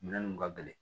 Minɛn nunnu ka gɛlɛn